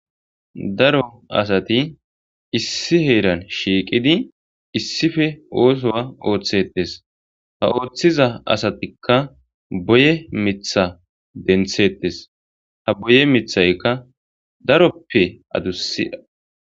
Daro asat issi heran shiiqid issippe othuwa oothetes, ha othiza asatika boye Mitha denthetes, ha boye mithayka daroppe adusiya.